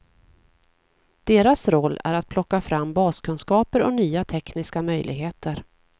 Deras roll är att plocka fram baskunskaper och nya tekniska möjligheter.